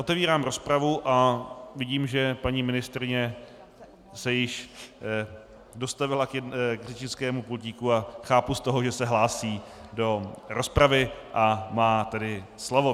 Otevírám rozpravu a vidím, že paní ministryně se již dostavila k řečnickému pultíku a chápu z toho, že se hlásí do rozpravy a má tedy slovo.